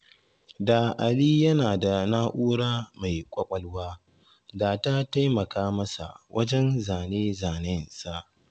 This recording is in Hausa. Da Ali yana da na'ura mai ƙwaƙwalwa da ta taimaka masa wajen zane-zanensa.